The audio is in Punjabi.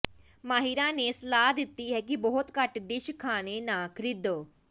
ਮਾਹਿਰਾਂ ਨੇ ਸਲਾਹ ਦਿੱਤੀ ਹੈ ਕਿ ਬਹੁਤ ਘੱਟ ਡਿਸ਼ ਖਾਣੇ ਨਾ ਖਰੀਦੋ